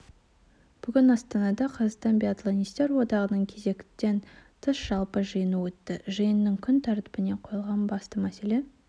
бүгін астанада қазақстан биатлонистер одағының кезектен тыс жалпы жиыны өтті жиынның күн тәртібіне қойылған басты мәселе